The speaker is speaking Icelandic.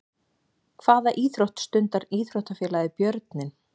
Hvaða íþrótt stundar íþróttafélagið Björninn?